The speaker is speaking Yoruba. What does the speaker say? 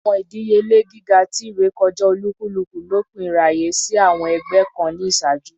Awọn idiyele giga ti irekọja olukuluku lopin iraye si awọn ẹgbẹ kan ni iṣaaju